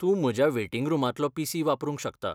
तूं म्हज्या वेटिंग रुमांतलो पी.सी. वापरूंक शकता.